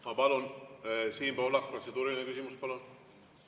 Ma palun, Siim Pohlak, protseduuriline küsimus!